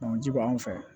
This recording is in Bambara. ji b'anw fɛ yan